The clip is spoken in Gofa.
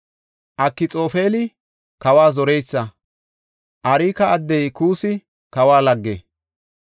Akxoofeli kawa zoreysa. Arka addey Kuussi kawa lagge.